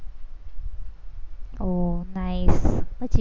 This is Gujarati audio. ઓહ nice પછી